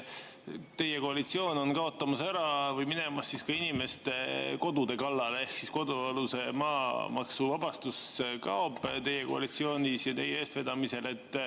Teie koalitsioon on minemas ka inimeste kodude kallale: kodualuse maa maamaksuvabastus kaob teie koalitsiooni ja teie eestvedamisel.